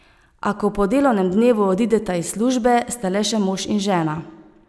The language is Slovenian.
A, ko po delovnem dnevu odideta iz službe, sta le še mož in žena.